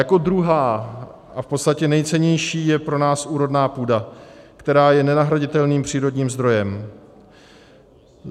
Jako druhá a v podstatě nejcennější je pro nás úrodná půda, která je nenahraditelným přírodním zdrojem.